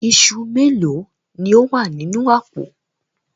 Iṣu méèló ni ó wà nínú àpò?